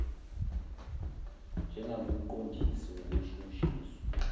njengakumqon disi wokushushiswa